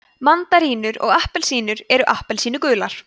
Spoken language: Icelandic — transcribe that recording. mandarínur og appelsínur eru appelsínugular